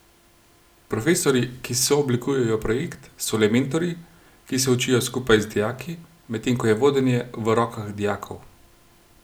Profesorji, ki sooblikujejo projekt, so le mentorji, ki se učijo skupaj z dijaki, medtem ko je vodenje v rokah dijakov.